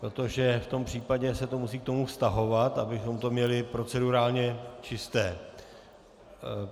Protože v tom případě se to musí k tomu vztahovat, abychom to měli procedurálně čisté.